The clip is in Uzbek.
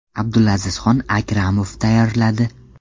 Abdulazizxon Akramov tayyorladi.